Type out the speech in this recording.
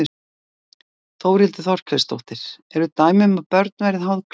Þórhildur Þorkelsdóttir: Eru dæmi um að börn verði háð klámi?